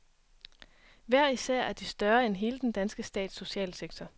Hver især er de større end hele den danske stats socialsektor.